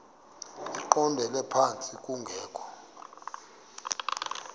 eqondele phantsi kungekho